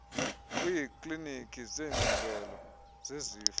kwiiklinikhi zeengcungela zesifo